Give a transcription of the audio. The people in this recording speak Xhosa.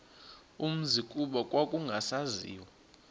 umzi kuba kwakungasaziwa